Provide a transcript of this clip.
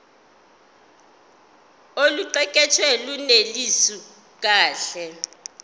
oluqukethwe lunelisi kahle